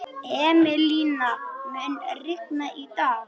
Emilíana, mun rigna í dag?